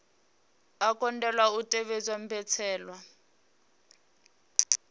a kundelwa u tevhedza mbetshelwa